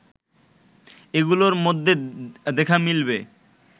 এগুলোর মধ্যে দেখা মিলবে